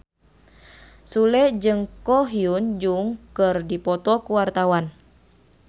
Sule jeung Ko Hyun Jung keur dipoto ku wartawan